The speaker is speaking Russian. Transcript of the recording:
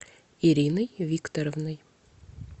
ириной викторовной